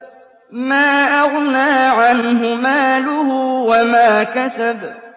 مَا أَغْنَىٰ عَنْهُ مَالُهُ وَمَا كَسَبَ